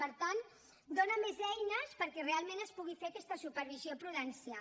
per tant dona més eines perquè realment es pugui fer aquesta supervisió prudencial